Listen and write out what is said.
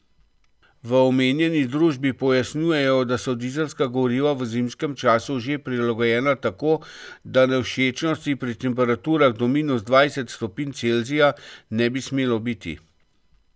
V omenjeni družbi pojasnjujejo, da so dizelska goriva v zimskem času že prilagojena tako, da nevšečnosti pri temperaturah do minus dvajset stopinj Celzija ne bi smelo biti.